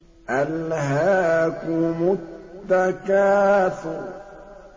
أَلْهَاكُمُ التَّكَاثُرُ